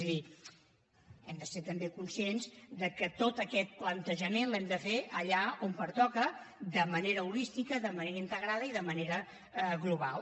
és a dir hem de ser també conscients que tot aquest plantejament l’hem de fer allà on pertoca de manera holística de manera integrada i de manera global